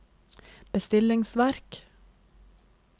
bestillingsverk